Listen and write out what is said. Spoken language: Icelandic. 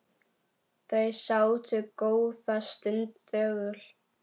Þau sátu góða stund þögul.